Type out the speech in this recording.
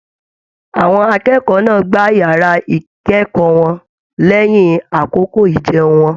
Àwọn akẹ́kọ̀ọ́ náà gbá yàrá ikẹkọọ wọn lẹyìn àkókò ijẹun wọn.